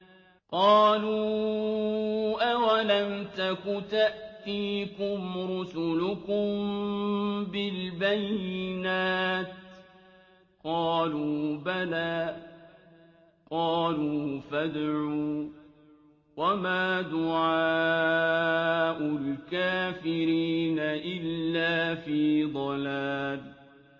قَالُوا أَوَلَمْ تَكُ تَأْتِيكُمْ رُسُلُكُم بِالْبَيِّنَاتِ ۖ قَالُوا بَلَىٰ ۚ قَالُوا فَادْعُوا ۗ وَمَا دُعَاءُ الْكَافِرِينَ إِلَّا فِي ضَلَالٍ